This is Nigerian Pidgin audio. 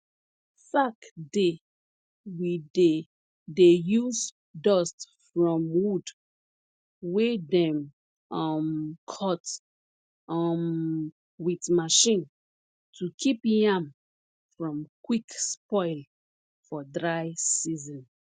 sack dey we dey dey use dust from wood wey dem um cut um wit machine to kip yam from quick spoil for dry season